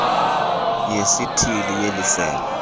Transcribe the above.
yesithili yeli sebe